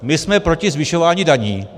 My jsme proti zvyšování daní.